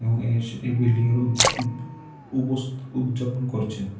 এবং এস এই বিল্ডিংয়ের উদ উপ উপস উদযাপন করছেন।